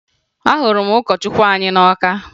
Ahụrụ m ụkọchukwu anyị na Ọka